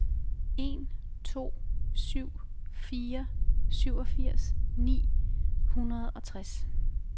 en to syv fire syvogfirs ni hundrede og tres